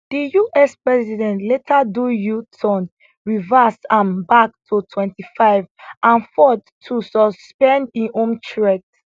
di us president later do uturn reverse am back to 25 and ford too suspend im own threat